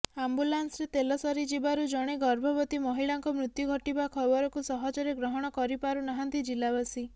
ଆମ୍ବୁଲାନ୍ସରେ ତେଲ ସରିଯିବାରୁ ଜଣେ ଗର୍ଭବତୀ ମହିଳାଙ୍କ ମୃତ୍ୟୁ ଘଟିବା ଖବରକୁ ସହଜରେ ଗ୍ରହଣ କରିପାରୁ ନାହାନ୍ତି ଜିଲ୍ଲାବାସୀ